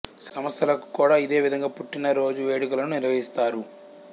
సంస్థలకు కూడా ఇదే విధంగా పుట్టిన రోజు వేడుకలను నిర్వహిస్తారు